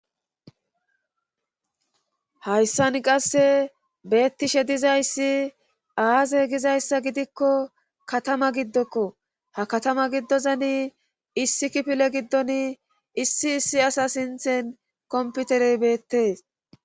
Hayssan qasse beettishe dizayssi aaze gizayssa gidikko katama giddokko ha katama giddozani issi kipile giddon issi issi asa sinthen komputerey beettees